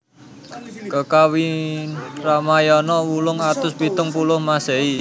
Kakawin Ramayana ~ wolung atus pitung puluh Masehi